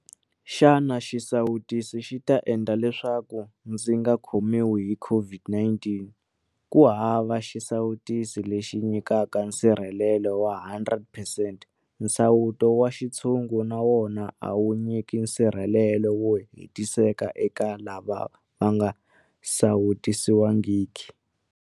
Xana xisawutisi xi ta endla leswaku ndzi nga khomiwi hi COVID-19? Kuhava xisawutisi lexi xi nyikaka nsirhelelo wa 100 percent. Nsawuto wa xintshungu na wona a wu nyiki nsirhe-lelo wo hetiseka eka lava va nga sawutisiwangiki.